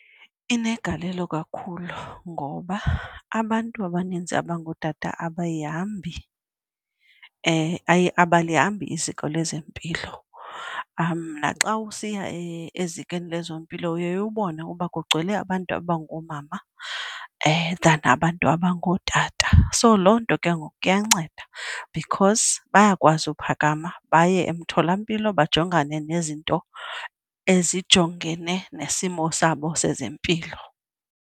Inegalelo kakhulu ngoba abantu abaninzi abangootata abayihambi abalihambi iziko lezempilo. Naxa usiya ezikweni lezempilo uye ubone ukuba kugcwele abantu abangoomama than abantu abangootata. So loo nto ke ngoku iyanceda because bayakwazi uphakama baye emtholampilo bajongane nezinto ezijongene nesimo sabo sezempilo.